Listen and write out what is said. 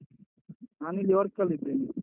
ನಾನಿಲ್ಲಿ work ಅಲ್ಲಿದ್ದೇನೆ.